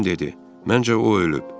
Jim dedi: "Məncə o ölüb.